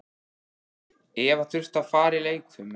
Eva þurfti að fara í leikfimi.